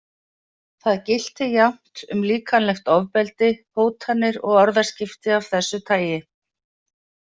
Það gilti jafnt um líkamlegt ofbeldi, hótanir og orðaskipti af þessu tagi.